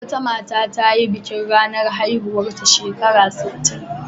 Wata mata ta yi bikin ranar haihuwarta shekara sittin.